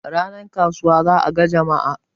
ranar kasuwa za a ga Jama'a